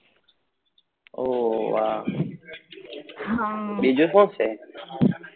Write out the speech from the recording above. ઓ વા બીજું શું છે?